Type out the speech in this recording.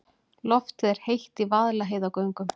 Loftið er heitt í Vaðlaheiðargöngum.